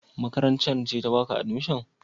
Makarantar ce ta baka admission?